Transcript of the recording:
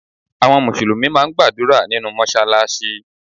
Àwọn Mùsùlùmí máà ń gbàdúrà nínú Mọ́ṣáláṣí.